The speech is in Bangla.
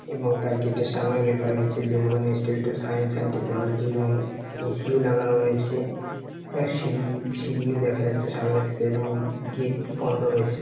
এবং তার গেট এর সামনেও লেখা রয়েছে Bengal Institute of Science and Technology এবং এ.সি. ও লাগানো রয়েছে। আ সিঁড়ি সিঁড়িও দেখা যাচ্ছে সামনে থেকে এবং গেট বন্ধ রয়েছে।